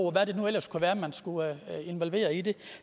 og hvad det nu ellers kunne være man skulle involvere i det